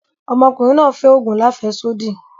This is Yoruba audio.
Ọmọ ọ̀kùnriǹ náà fẹ́ ogun làféṣodí.